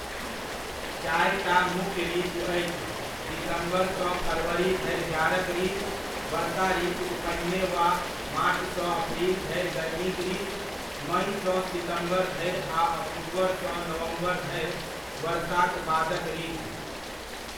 चारिटा मुख्य ऋतु अछि दिसम्बरसँ फरवरी धरि जाड़क ऋतु, वर्षा ऋतुक पहिने वा मार्चसँ अप्रिल धरि गरमीक ऋतु, मइसँ सितम्बर धरि आ अक्टूबरसँ नवम्बर धरि वर्षाक बादक ऋतु।